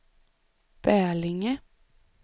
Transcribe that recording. Bälinge